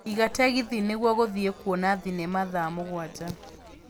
iga tegithi nĩgũo gũthiĩ kũona thinema thaa mũgwanja